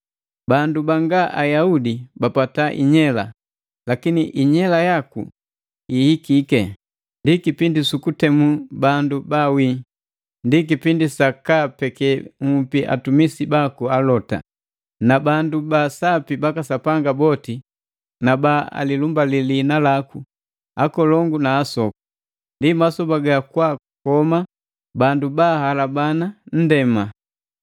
Bandu banga Ayaudi bapata inyela, Lakini inyela yaku ihikike, Ndi kipindi sukutemu bandu baawii, Ndi kipindi sa kaapeke nhupi atumisi baku alota, na bandu ba sapi baka Sapanga boti na baalilumbali liina laku, akolongu na asoku. Ndi masoba gakwaakoma bandu ba ahalabana nndema.”